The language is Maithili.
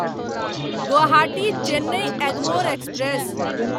गुवाहाटी चेन्नई एगमोर एक्सप्रेस